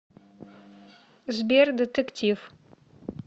сбер детектив